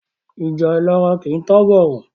Ìjà ìlara kìí tán bọ̀rọ̀.